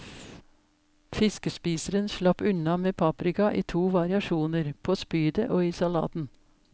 Fiskespiseren slapp unna med paprika i to variasjoner, på spydet og i salaten.